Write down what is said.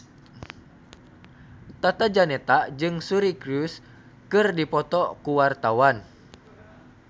Tata Janeta jeung Suri Cruise keur dipoto ku wartawan